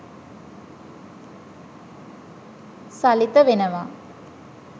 සලිත වෙනවා.